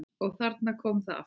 Og þarna kom það aftur!